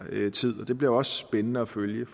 tid og det bliver også spændende at følge